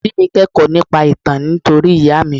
Àǹtí mi kẹ́kọ̀ọ́ nípa ìtàn nítorí ìyá mi.